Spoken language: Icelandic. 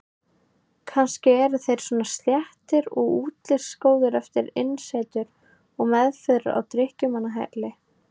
Kannski eru þeir svona sléttir og útlitsgóðir eftir innisetur og meðferð á drykkjumannahæli.